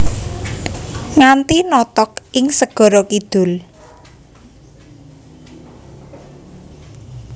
Nganti notog ing segara kidul